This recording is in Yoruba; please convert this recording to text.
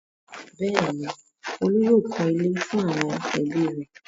bẹ́ẹ̀ni, Olú yóò kọ́ ilé fún àwọn ẹbí rẹ̀.